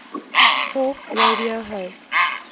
talk radio hosts